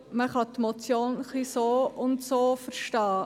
Man kann die Motion so oder so verstehen.